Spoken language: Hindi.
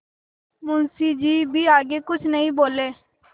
मुंशी जी भी आगे कुछ नहीं बोले